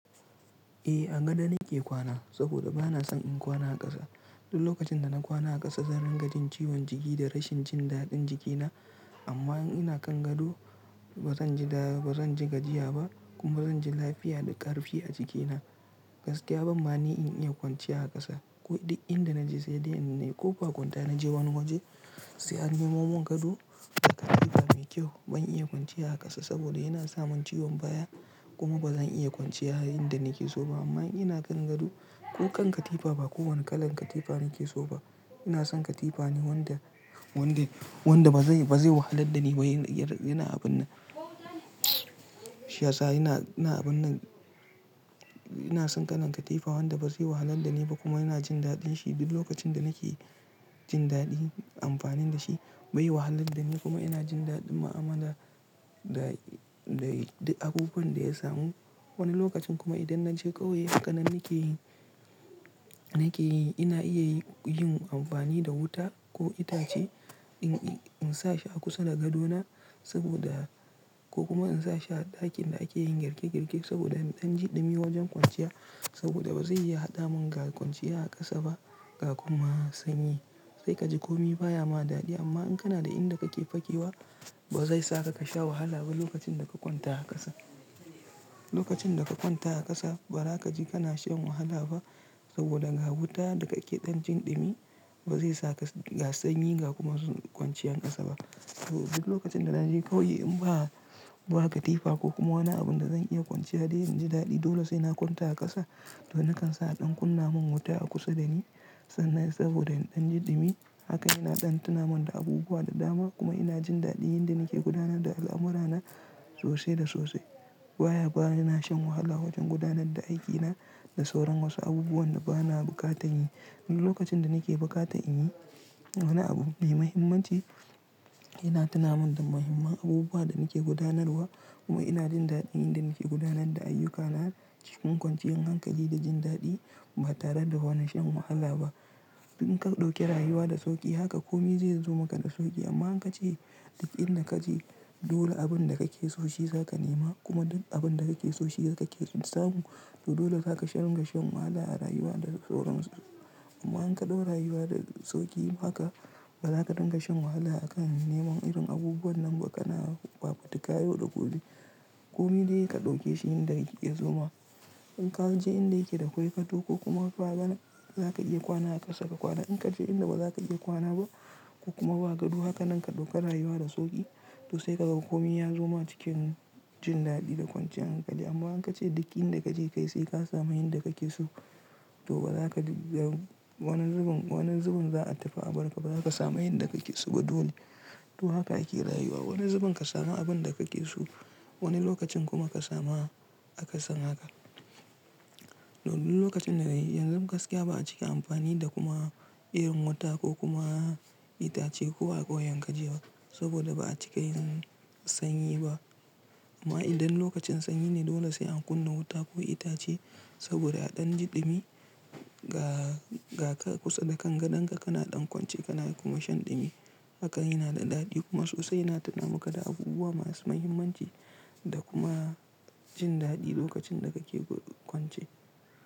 Eh a gado nake kwana saboda bana son in kwana a ƙasa. Duk lokacin da na kwana a ƙasa zan ringajin ciwon jiki da rashin jin daɗin jikina amma in ina kan gado bazan ji gajiya ba kuma bazan ji lafiya da ƙarfi a jikina. Gaskiya ban mani in iya kwanciya a ƙasa ko duk inda naje sai dai in nayi ƙo bakwanta naje wani waje sai an nemo mun gado da katifa mai kyau. Ban iya kwanciya a ƙasa saboda yana sa mun ciwon baya kuma bazan iya kwanciya yayinda nake so ba amma in ina kan gado ko kan katifa ba kowane kalan katifa nake so ba. Ina son katifa ne wanda wanda bazai bazai wahalar da ni ba yana abun nan shi yasa ina ina abunnan ina son kalan katifa wanda bazai wahalar da ni ba kuma yana jin daɗin shi duk lokacin da nake jin daɗi amfani da shi Bai wahalar da ni kuma yana jin daɗin muamala da da duk abubuwan da ya samu. Wani lokacin kuma idan naje ƙauye haka nan nake yi nake yi. Ina iya yin amfani da wuta ko itace in sa shi a kusa da gadona saboda ko kuma in sa shi a ɗakin da ake yin girke girke saboda in ɗan ji ɗumi wajen kwanciya saboda bazai iya hada mun ga kwanciya a ƙasa ba ga kuma sanyi. Sai kaji komai baya ma daɗi amma in kana da inda kake fakewa bazai saka ka sha wahala ba lokacin da ka kwanta a ƙasa. Lokacin da ka kwanta a ƙasa bazaka ji kana shan wahala ba saboda ga wuta da kake ɗan jin ɗumi bazai saka ga sanyi ga kuma kwanciyar ƙasa ba. Duk lokacin da naje ƙauye in ba a ba katifa ko kuma wani abun da zan iya kwanciya dai in ji daɗi dole sai na kwanta a ƙasa to nakan sa a ɗan kunna mun wuta a kusa da ni sannan saboda in ɗan ji ɗumi haka ina ɗan tuna mun da abubuwa da dama kuma ina jin daɗin yin da nake gudanar da al'amura na sosai da sosai. Baya ba ina shan wahala wajen gudanar da aikina da sauran wasu abubuwan da bana buƙatar yi. Duk lokacin da nake bukata in yi wani abu mai mahimmanci ina tuna mun da muhimman abubuwa da nake gudanarwa kuma ina jin daɗin yin da nake gudanar da ayyukana cikin kwanciyan hankali da jin daɗi ba tare da wani shan wahala ba. In ka ɗauke rayuwa da sauƙi haka komai zai zo maka da sauƙi amma in ka ce duk inda kaje dole abun da kake so shi zaka nema kuma abun da kake so shi kaka son samu to dole zaka sha dinga shan wahala a rayuwa da sauran su. Amma in ka dau rayuwa da sauki haka baza ka dinga shan wahala akan neman irin abubuwan nan ba kana kpakutuka yau da kullum komai dai ka ɗauke shi yanda yake ya zoma. In ka je inda yake da kwai gado kokuma ba gana za ka iya kwana a ƙasa ba gwara. In ka je inda baza ka iya kwana ba kokuma ba gado haka nan ka ɗauka rayuwa da sauƙi toh sai ka ga komai ya zo ma cikin jin daɗi da kwanciyan hankali. Amma in ka ce duk inda kaje kai sai ka samu yanda kake so toh bazaka ga wani zubin za a tafi abarka ba zaka samu yanda kake so ba dole. To haka ake rayuwa. Wani zubin ka samu abun da kake so wani lokacin kuma ka samu akasin haka. Toh duk lokacin danayi yanzu gaskiya ba'a cika amfani da kuma irin wuta ko kuma itace ko akwai yanka jeka saboda ba'a cika yin sanyi ba. Amma idan lokacin sanyi ne dole sai an kunna wuta ko itace saboda a ɗan ji ɗumi ga kusa da kan gadonka kana ɗan kwance kana kuma shan ɗumi haka yana da daɗi kuma sosai yana tuna maka da abubuwa masu muhimmanci da kuma jin daɗi lokacin da kake kwance.